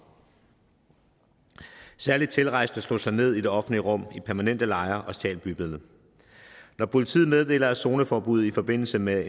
særlig tilrejsende slog sig ned i det offentlige rum i permanente lejre og stjal bybilledet når politiet meddeler at zoneforbud i forbindelse med